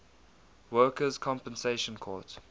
workers compensation court